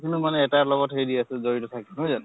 মানে এটাৰ লগত হেৰি আছে জড়িত থাকে নহয় জানো?